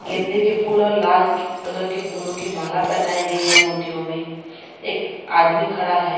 गेंदे के फूल और लाल कलर के फूलों की माला पहनाई गई है मूर्तियों मे एक आदमी खड़ा है।